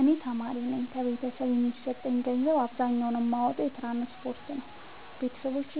እኔ ተማሪነኝ ከቤተሰብ የሚሰጠኝን ገንዘብ አብዛኛውን የማወጣው ለትራንስፖርት ነው የበተሰቦቼ